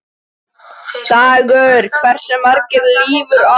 Emilía, hversu margir dagar fram að næsta fríi?